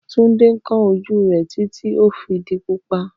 Tunde n kan oju re titi o fi di pupa.